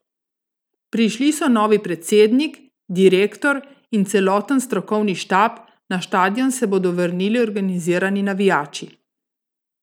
Prišli so novi predsednik, direktor in celoten strokovni štab, na štadion se bodo vrnili organizirani navijači.